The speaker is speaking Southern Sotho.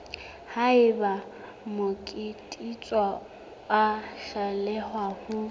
haeba motsekiswa a hloleha ho